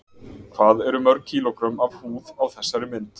Hvað eru mörg kílógrömm af húð á þessari mynd?